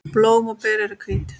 Blóm og ber eru hvít.